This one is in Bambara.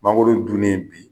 Mangoro dunnen bi